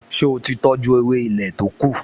Ṣé ó ti tọjú ewé ilé to kù?